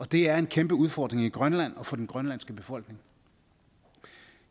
det er en kæmpe udfordring i grønland og for den grønlandske befolkning